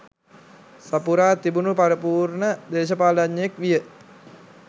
සපුරා තිබුණු පරිපූර්ණ දේශපාලනඥයෙක් විය